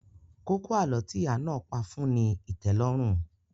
Kókó àlọ́ tí ìyá náà pá fún ní ìtẹ́lọ́rùn